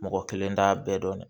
Mɔgɔ kelen t'a bɛɛ dɔn